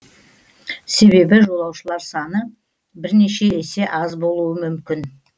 себебі жолаушылар саны бірнеше есе аз болуы мүмкін